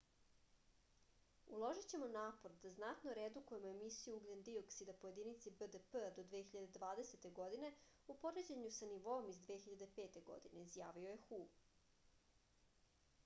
uložićemo napor da znatno redukujemo emisiju ugljen-dioksida po jedinici bdp-a do 2020. godine u poređennju sa nivoom iz 2005. godine izjavio je hu